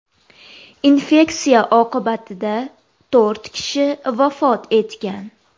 Infeksiya oqibatida to‘rt kishi vafot etgan .